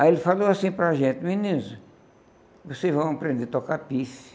Aí ele falou assim para a gente, meninos, vocês vão aprender a tocar.